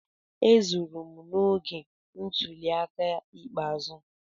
Ezuru m n'oge ntuli aka ikpeazụ.